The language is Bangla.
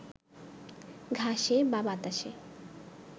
ঘাসে বা বাতাসে